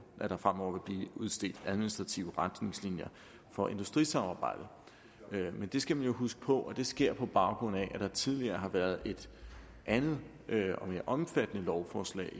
der fremover vil blive udstedt administrative retningslinjer for industrisamarbejdet men vi skal huske på at det sker på baggrund af at der tidligere har været et andet og mere omfattende lovforslag